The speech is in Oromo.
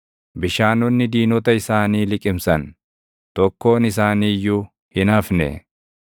Bishaanonni diinota isaanii liqimsan; tokkoon isaanii iyyuu hin hafne.